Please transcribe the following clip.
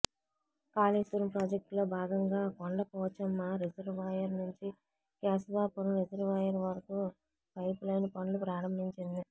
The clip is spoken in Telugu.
కాళేశ్వరం ప్రాజెక్టులో భాగంగా కొండ పోచమ్మ రిజర్వాయర్ నుంచి కేశవాపురం రిజర్వాయర్ వరకు పైపులైను పనులు ప్రారంభించింది